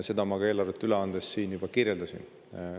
Seda ma eelarvet üle andes siin juba kirjeldasin.